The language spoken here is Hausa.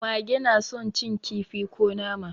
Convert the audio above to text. Mage na son cin kifi ko nama.